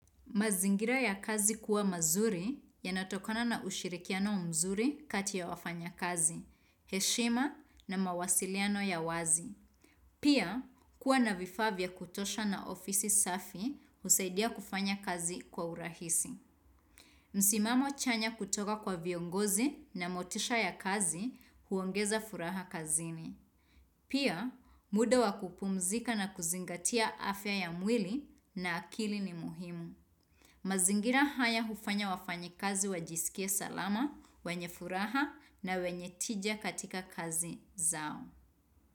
Mazingira ya kazi kuwa mazuri yanatokana na ushirikiano mzuri kati ya wafanya kazi, heshima na mawasiliano ya wazi. Pia, kuwa na vifaa vya kutosha na ofisi safi husaidia kufanya kazi kwa urahisi. Msimamo chanya kutoka kwa viongozi na motisha ya kazi huongeza furaha kazini. Pia, muda wa kupumzika na kuzingatia afya ya mwili na akili ni muhimu. Mazingira haya hufanya wafanyi kazi wajisikie salama, wenye furaha na wenye tija katika kazi zao.